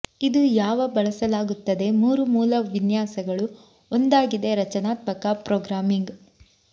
ಇದು ಯಾವ ಬಳಸಲಾಗುತ್ತದೆ ಮೂರು ಮೂಲ ವಿನ್ಯಾಸಗಳು ಒಂದಾಗಿದೆ ರಚನಾತ್ಮಕ ಪ್ರೋಗ್ರಾಮಿಂಗ್